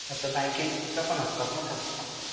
बँकिंगच्या पण असतात ना त्या.